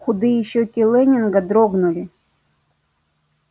худые щёки лэннинга дрогнули